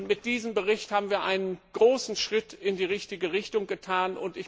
Mit diesem Bericht haben wir einen großen Schritt in die richtige Richtung getan.